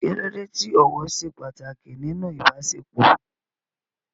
Kí ló dé tí ọ̀wọ̀ ṣe pàtàkì nínú ìbáṣepọ̀?